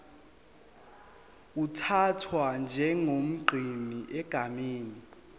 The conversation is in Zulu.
uthathwa njengomgcini egameni